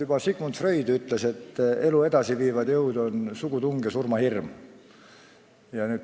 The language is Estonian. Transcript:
Juba Sigmund Freud ütles, et elu edasiviivad jõud on sugutung ja surmahirm.